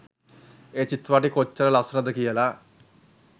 ඒ චිත්‍රපටය කොච්චර ලස්සනද කියල.